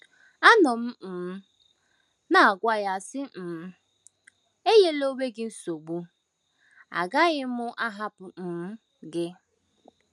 Anọ m um na - agwa ya, sị um: “ Enyela onwe gị nsogbu, agaghị m ahapụ um gị.